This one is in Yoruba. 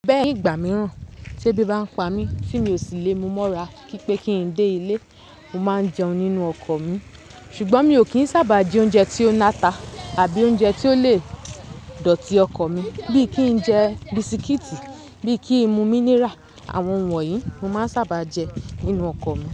Bẹ́ẹ̀ ni ìgbà mìíràn tí ẹbí bá ń pa mí, tí mi ò sí lé mu mọ́ra kí pé kí n dé ilé, mo máa ń jẹun nínú ọkọ̀ mi. Ṣùgbọ́n mi ò kì í sábà jẹ oúnjẹ tí ó lata àbí oúnjẹ tí ó lè dọ̀tí ọkọ̀ mi bí i kí n jẹ bisikíìtì, bí i kí n mu mínírà. Àwọn ohun wọ̀nyí mo máa ń sábà jẹ nínú ọkọ̀ mi.